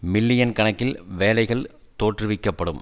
million கணக்கில் வேலைகள் தோற்றுவிக்க படும்